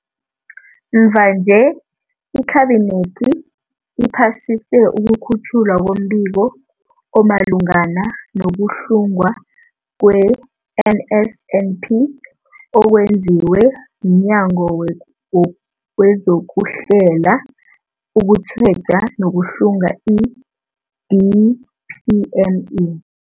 Mvanje, iKhabinethi iphasise ukukhutjhwa kombiko omalungana no-kuhlungwa kwe-NSNP okwenziwe mNyango wezokuHlela, ukuTjheja nokuHlunga, i-DPME.